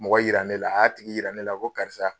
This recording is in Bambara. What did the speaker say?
Mɔgɔ yira ne la a y'a tigi yira ne la ko karisa.